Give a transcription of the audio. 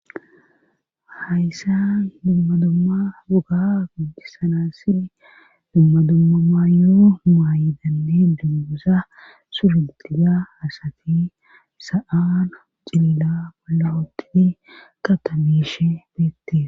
hayssa dumma dumma duga godisanasi dumma dumma mayoo maayidane dumgusa surudida asati sa7aan cilila bolla ootii kata miish bitte